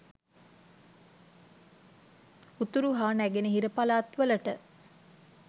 උතුරු හා නැගෙනහිර පළාත් වලට